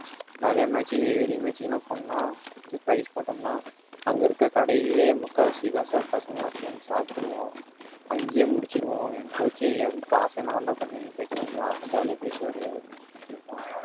நிறைய match க்கு வெளி matching எல்லாம் போனோம்ன்னா இது prize போட்டோம்ன்னா அங்கே இருக்கிற கடையிலேயே முக்காவாசி காசை பசங்க எல்லாம் சேர்ந்து சாப்பிட்டுருவோம் அங்கேயே முடிச்சிருவோம். என் coach ஏ காசு என்ன தான்டா பண்ணுவீங்கன்னு கேட்டு கொஞ்சம் jolly ஆ பேசுவாரு அப்படின்னு சொல்லி முடிச்சிருக்கோம்